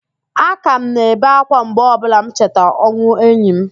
Aka m na-ebe ákwá mgbe ọbụla m cheta ọnwụ enyi m